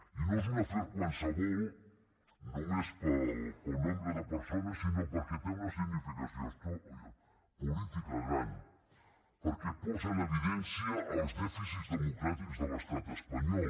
i no és un afer qualsevol només pel nombre de persones sinó perquè té una significació política gran perquè posa en evidència els dèficits democràtics de l’estat espanyol